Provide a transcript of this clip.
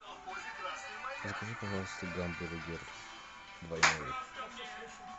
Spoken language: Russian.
закажи пожалуйста гамбургер двойной